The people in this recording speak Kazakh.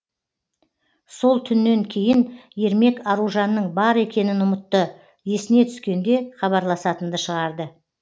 сол түннен кейін ермек аружанның бар екенін ұмытты есіне түскенде хабарласатынды шығарды